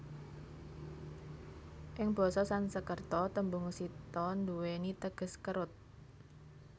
Ing basa Sansekerta tembung Sita nduweni teges kerut